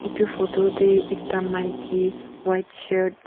etu photo teh ekta maiki white shirt.